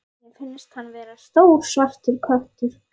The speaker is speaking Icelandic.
Mér finnst hann vera stór svartur köttur.